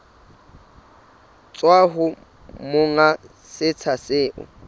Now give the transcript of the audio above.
tswa ho monga setsha seo